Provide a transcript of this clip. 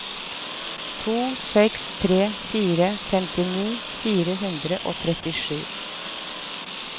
to seks tre fire femtini fire hundre og trettisju